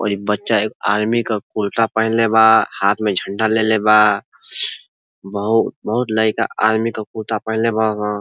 और एक बच्चा एक आर्मी के कुर्ता पहनले बा हाथ में झंडा ले ले बा बहु बहुत लइका आर्मी के कुर्ता पहनले बा --